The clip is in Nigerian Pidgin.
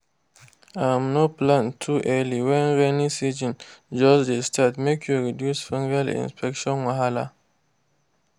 um no plant too early when rainy season just dey start make you reduce fungal infection wahala.